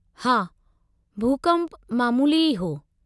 हा, भूकंप मामूली ई हो।